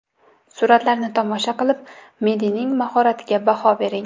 Suratlarni tomosha qilib, Madining mahoratiga baho bering.